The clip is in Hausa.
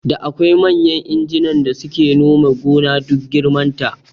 Da akwai manyan injinan da suke nome gona duk girman ta